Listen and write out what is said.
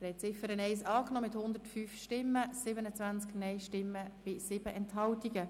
Sie haben die Ziffer 1 angenommen mit 105 Ja- zu 27 Nein-Stimmen bei 7 Enthaltungen.